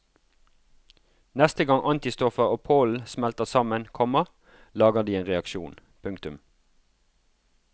Neste gang antistoffer og pollen smelter sammen, komma lager de en reaksjon. punktum